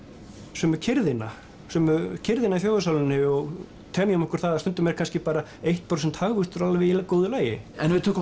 sömu kyrrðina sömu kyrrðina í þjóðarsálinni og temjum okkur það að stundum er kannski eitt prósent hagvöxtur alveg í góðu lagi en ef við tökum